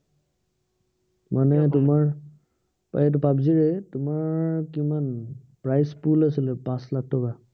আহ এইটো পাৱজিৰেই। তোমাৰ কিমান price টো লৈছিলে পাঁচ লাাখ টকা।